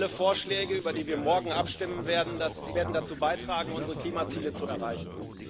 Alle Vorschläge, über die wir morgen abstimmen werden, werden dazu beitragen, unsere Klimaziele zu erreichen.